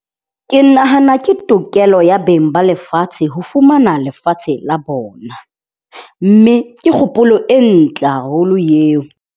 Ke nahana ke tokelo ya beng ba lefatshe ho fumana lefatshe la bona. Mme ke kgopolo e ntle haholo eo.